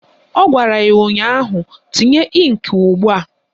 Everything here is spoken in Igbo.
Ọ gwara ya ụnyaahụ "Tinye ịnkị ugbua"!